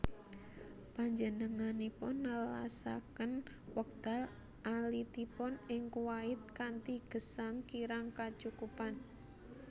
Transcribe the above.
Panjenenganipun nelasaken wekdal alitipun ing Kuwait kanthi gesang kirang kacukupan